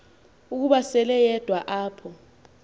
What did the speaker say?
ukuba seleyedwa apho